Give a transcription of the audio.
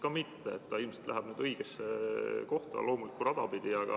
Ka vastutus ilmselt läheb nüüd loomulikku rada pidi õigesse kohta.